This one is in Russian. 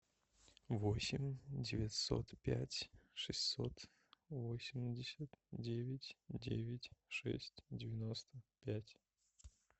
восемь девятьсот пять шестьсот восемьдесят девять девять шесть девяносто пять